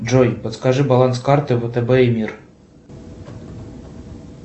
джой подскажи баланс карты втб и мир